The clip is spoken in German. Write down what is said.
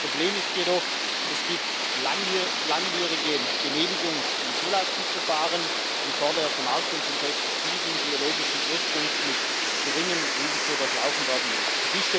Das Problem ist jedoch Es gibt langwierige Genehmigungs und Zulassungsverfahren, die vor der Vermarktung von Pestiziden biologischen Ursprungs mit geringem Risiko durchlaufen werden müssen.